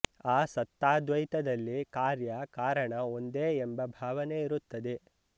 ಆ ಸತ್ತಾದ್ವೈತದಲ್ಲಿ ಕಾರ್ಯ ಕಾರಣ ಒಂದೇ ಎಂಬ ಭಾವನೆ ಇರುತ್ತದೆ